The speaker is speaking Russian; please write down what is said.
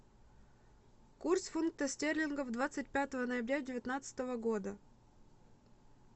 курс фунта стерлингов двадцать пятого ноября девятнадцатого года